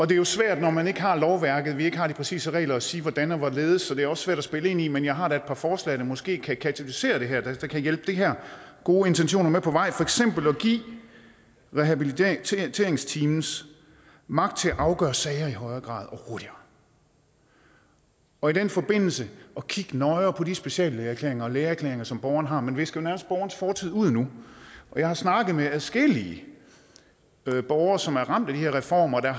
det er jo svært når man ikke har lovværket vi ikke har de præcise regler at sige hvordan og hvorledes og det er også svært at spille ind i men jeg har da et par forslag der måske kan katalysere det her der kan hjælpe de her gode intentioner med på vej for eksempel at give rehabiliteringsteams magt til at afgøre sager i højere grad og hurtigere og i den forbindelse kigge nøjere på de speciallægeerklæringer og lægeerklæringer som borgeren har man visker jo nærmest borgerens fortid ud nu jeg har snakket med adskillige borgere som er ramt af de her reformer der